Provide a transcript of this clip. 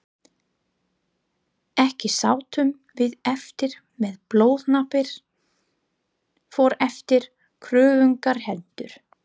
Ekki sátum við eftir með blóðhlaupin för eftir kröftugar hendur.